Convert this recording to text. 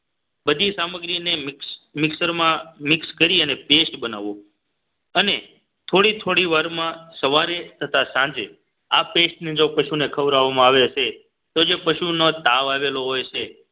બધી સામગ્રીને મિક્સરમાં મિક્સ કરી અને paste બનાવો અને થોડી થોડી વારમાં સવારે થતા સાંજે આ paste ને જો પશુને ખવડાવવામાં આવે છે તો જે પશુનો તાવ આવેલો હોય છે